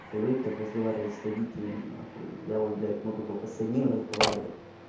привык так разговаривать с родителями на хуй я вот блять могу только с одним разговаривать